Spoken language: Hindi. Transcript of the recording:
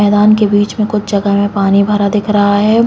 मैदान के बीच में कुछ जगह में पानी भरा दिख रहा है।